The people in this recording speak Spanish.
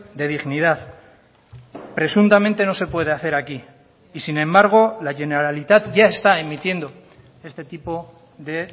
de dignidad presuntamente no se puede hacer aquí y sin embargo la generalitat ya está emitiendo este tipo de